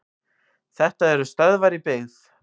Þetta eru stöðvar í byggð.